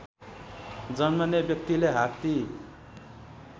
जन्मने व्यक्तिले हात्ती